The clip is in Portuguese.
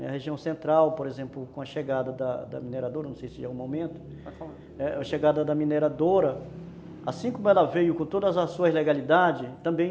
Na região central, por exemplo, com a chegada da da mineradora, não sei se já é o momento, a chegada da mineradora, assim como ela veio com todas as suas legalidades, também